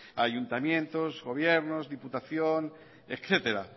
ayuntamientos gobiernos diputación etcétera